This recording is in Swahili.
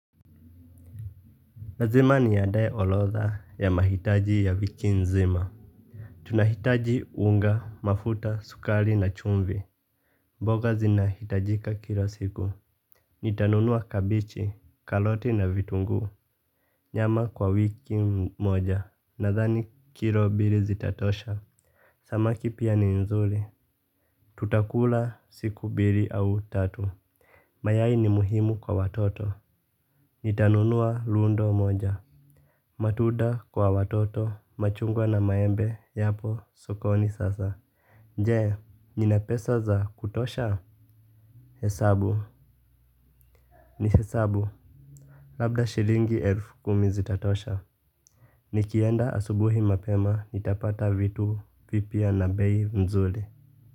Lazima niandae orodha ya mahitaji ya wiki nzima. Tunahitaji unga, mafuta, sukari na chumvi. Mboga zinahitajika kila siku. Nitanunua kabichi, karoti na vitunguu. Nyama kwa wiki moja nadhani kilo mbili zitatosha. Samaki pia ni nzuri. Tutakula siku mbili au tatu. Mayai ni muhimu kwa watoto. Nitanunua rundo moja. Matunda kwa watoto machungwa na maembe yapo sokoni sasa je, nina pesa za kutosha? Hesabu ni hesabu. Labda shilingi elfu kumi zitatosha. Nikienda asubuhi mapema nitapata vitu vipya na bei mzuri.